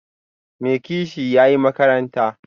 Mai kishiya, ya yi makaranta